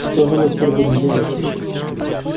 что же мы теперь будем делать